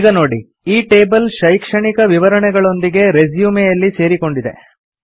ಈಗ ನೋಡಿ ಈ ಟೇಬಲ್ ಶೈಕ್ಷಣಿಕ ವಿವರಣೆಗಳೊಂದಿಗೆ ರೆಸ್ಯುಮೆಯಲ್ಲಿ ಸೇರಿಕೊಂಡಿದೆ